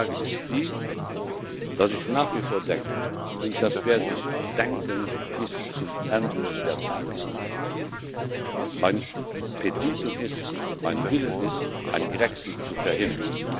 Die Lage ist die, dass ich nach wie vor denke und das werde ich denken bis zum Ende der Tage Mein Petitum ist, mein Wille ist, einen Grexit zu verhindern.